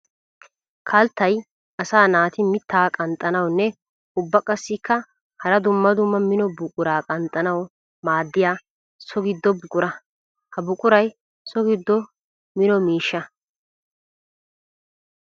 Kalttay asaa naati mitta qanxxanawunne ubba qassikka hara dumma dumma mino buqura qanxxanawu maadiya so gido buqura. Ha buquray so gido mino miishsha.